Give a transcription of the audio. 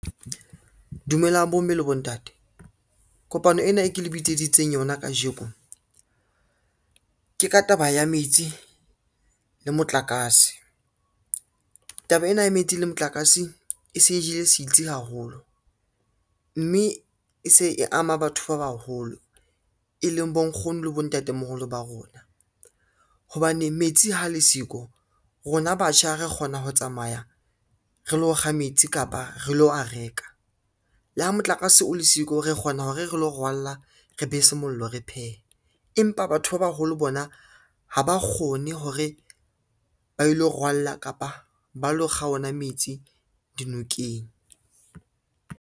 Dumelang bomme le bontate. Kopano ena e ke le bitseditseng yona kajeko, ke ka taba ya metsi le motlakase. Taba ena ya metsi le motlakase e se e jele sitsi haholo, mme e se e ama batho ba baholo e leng bonkgono le bontatemoholo ba rona, hobane metsi ha le siko rona batjha re kgona ho tsamaya re lo kga metsi kapa re lo a reka. Le ha motlakase o le siko, re kgona hore re lo rwalla, re be se mollo, re phehe, empa batho ba baholo bona ha ba kgone hore ba ilo rwalla kapa ba lo kga ona metsi dinokeng.